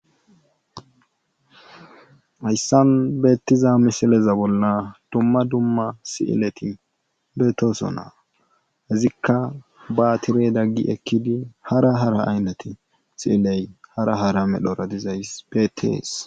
Hayssan beetiza misileza bolla dumma dumma sileti beetosona. izikka baatiredan gi ekkidi hara hara aynate hara hara medhora dizayssi beetees.